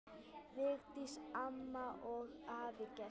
Vigdís amma og afi Gestur.